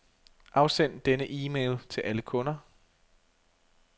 Afsend denne e-mail til alle kunder.